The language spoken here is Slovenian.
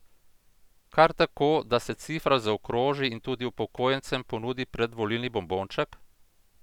Kar tako, da se cifra zaokroži in tudi upokojencem ponudi predvolilni bombonček?